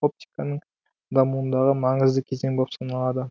оптиканың дамуындағы маңызды кезең болып саналады